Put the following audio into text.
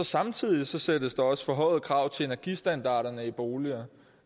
samtidig stilles der også forhøjede krav til energistandarderne i boligerne